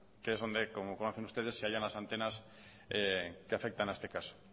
que es donde como conocen ustedes se hallan las antenas que afectan a este caso